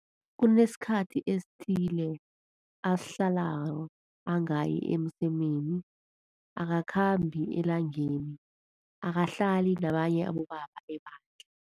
Kunesikhathi esithile asihlalako angayi emsemeni, akakhambi elangeni, akahlali nabanye abobaba ebandla.